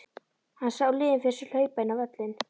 Hann sá liðin fyrir sér að hlaupa inn á völlinn.